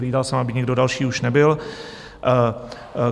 Hlídal jsem, aby nikdo další už nebyl.